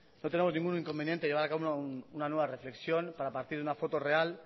no tenemos ningún inconveniente en llevar a cabo una nueva reflexión para partir de una foto real